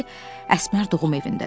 Dedi ki, Əsmər doğum evindədir.